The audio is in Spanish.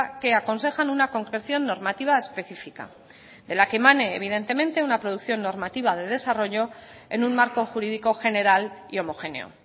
que aconsejan una concreción normativa específica de la que emane evidentemente una producción normativa de desarrollo en un marco jurídico general y homogéneo